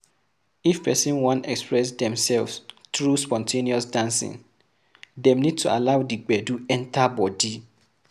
If person wan express themselves through spon ten ous dancing, dem need to allow di gbedu enter bodi